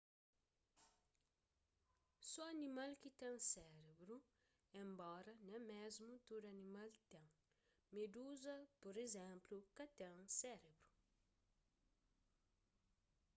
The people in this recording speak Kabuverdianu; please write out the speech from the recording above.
so animal ki ten sérebru enbora nen mésmu tudu animal ten; meduza pur izénplu ka ten sérebru